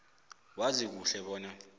wazi kuhle bona